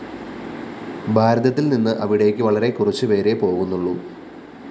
ഭാരതത്തില്‍ നിന്ന് അവിടേക്ക് വളരെ കുറച്ചു പേരെ പോകുന്നുള്ളൂ